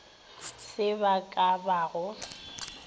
se ba ka ba go